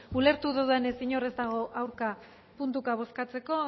ulertu dudanez inor ez dago aurka puntuka bozkatzeko